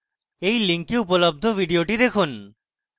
এই link উপলব্ধ video দেখুন